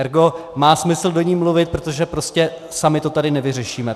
Ergo má smysl do ní mluvit, protože prostě sami to tady nevyřešíme.